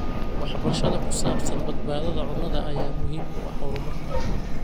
Waxbarashada ku saabsan badbaadada cunnada ayaa muhiim u ah horumarka.